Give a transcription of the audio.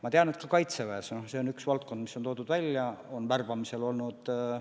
Ma tean, et Kaitseväes – no see on üks valdkond, mis on välja toodud – on värbamisega probleeme olnud.